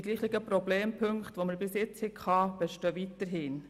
Die verschiedenen, bisher gehabten Problempunkte bestehen weiterhin.